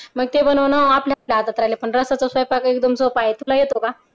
मग ते बनवणं आपल्या हातात राहिलं रसाचा सोपा आहे तुला येतो का?